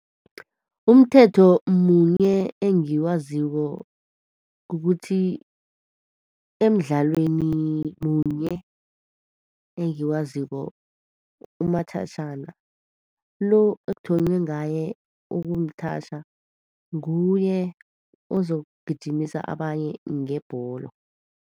Umthetho munye engiwaziko kukuthi, emdlalweni munye engiwaziko, umathatjhana, lo okuthonywe ngaye ukumthatjha, nguye ozokugijimisa abanye ngebholo.